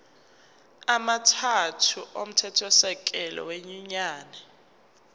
amathathu omthethosisekelo wenyunyane